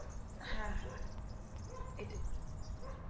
হ্যাঁ হ্যাঁ, এইটাই